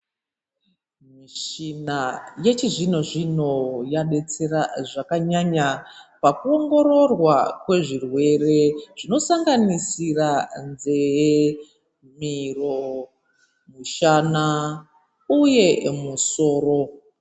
Michina yechizvino zvino yadetsera zvakanyanya pakuongororwa pezvirwere zvinosanganisisira nzeve miro mushana uye misoro.